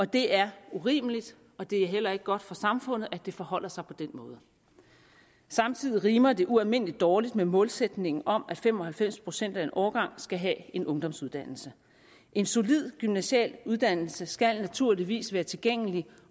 det er urimeligt og det er heller ikke godt for samfundet at det forholder sig på den måde samtidig rimer det ualmindelig dårligt med målsætningen om at fem og halvfems procent af en årgang skal have en ungdomsuddannelse en solid gymnasial uddannelse skal naturligvis være tilgængelig